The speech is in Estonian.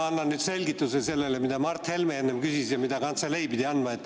Ma annan nüüd selgituse, mida Mart Helme enne küsis ja mille kantselei pidi andma.